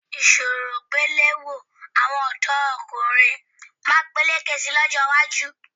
Ìṣọwọ́gbéléró àwọn ọ̀dọ́kùnrin máa peléke sí i lọ́jọ́ iwájú